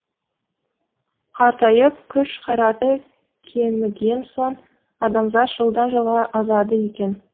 қартайып күш қайраты кеміген соң адамзат жылдан жылға азады екен